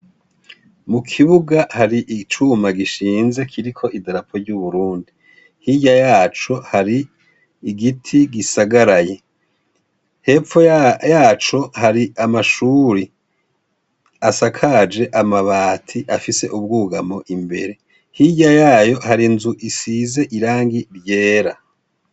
Mu kibuga hari icuma gishinze kiriko idarapo ry'uburundi. Hirya yaco hari igiti gisagaraye. Hepfo yaco hari amashuri asakaje amabati afise ubwugamo imbere. Hirya yayo hari inzu isize irangi ryera.